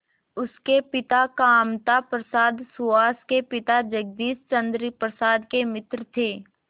उसके पिता कामता प्रसाद सुहास के पिता जगदीश चंद्र प्रसाद के मित्र थे